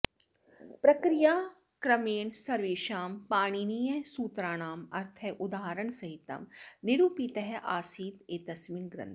प्रक्रियाक्रमेण सर्वेषां पाणिनीयसूत्राणाम् अर्थः उदाहरणसहितं निरूपितः अस्ति एतस्मिन् ग्रन्थे